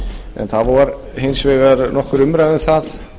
en þá var hins vegar nokkuð umræða um það